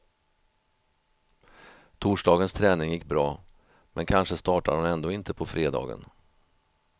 Torsdagens träning gick bra, men kanske startar hon ändå inte på fredagen.